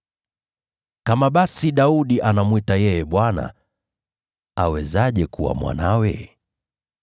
Kama basi Daudi anamwita yeye ‘Bwana,’ awezaje kuwa mwanawe?”